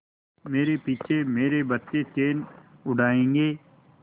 मेरे पीछे मेरे बच्चे चैन उड़ायेंगे